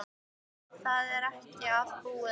Það er ekki allt búið enn.